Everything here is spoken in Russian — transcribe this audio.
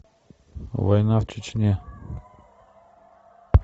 война в чечне